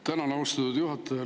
Tänan, austatud juhataja!